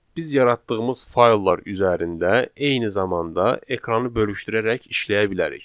Biz yaratdığımız fayllar üzərində eyni zamanda ekranı bölüşdürərək işləyə bilərik.